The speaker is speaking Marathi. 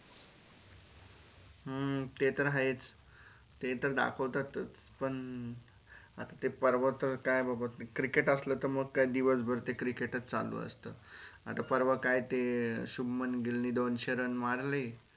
हम्म ते तर आहेच ते तर दाखवतातच पण आता ते परवा च काय बाबा Crikcet आसल तर मग काय दिवस भर ते crikcet चालू असत आता परवा काय ते शुभमन गिल ने दोनशे run मारले.